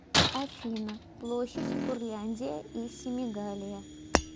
афина площадь курляндия и семигалия